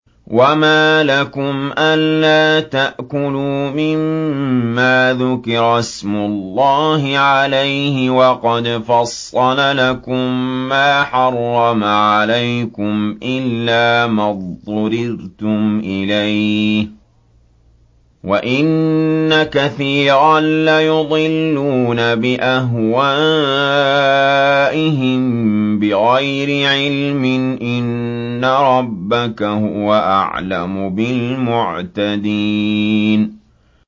وَمَا لَكُمْ أَلَّا تَأْكُلُوا مِمَّا ذُكِرَ اسْمُ اللَّهِ عَلَيْهِ وَقَدْ فَصَّلَ لَكُم مَّا حَرَّمَ عَلَيْكُمْ إِلَّا مَا اضْطُرِرْتُمْ إِلَيْهِ ۗ وَإِنَّ كَثِيرًا لَّيُضِلُّونَ بِأَهْوَائِهِم بِغَيْرِ عِلْمٍ ۗ إِنَّ رَبَّكَ هُوَ أَعْلَمُ بِالْمُعْتَدِينَ